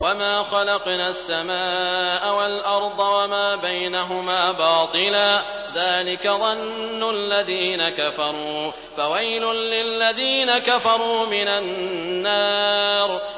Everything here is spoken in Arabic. وَمَا خَلَقْنَا السَّمَاءَ وَالْأَرْضَ وَمَا بَيْنَهُمَا بَاطِلًا ۚ ذَٰلِكَ ظَنُّ الَّذِينَ كَفَرُوا ۚ فَوَيْلٌ لِّلَّذِينَ كَفَرُوا مِنَ النَّارِ